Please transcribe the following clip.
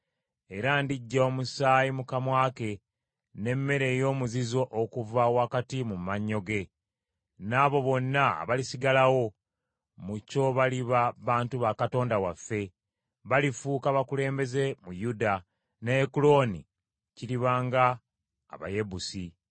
Era ndiggya omusaayi mu kamwa ke n’emmere ey’omuzizo okuva wakati mu mannyo ge. N’abo bonna abalisigalawo mu kyo baliba bantu ba Katonda waffe, balifuuka bakulembeze mu Yuda, ne Ekuloni kiriba nga Abayebusi.